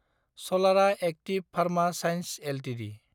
सलारा active pharma science Ltd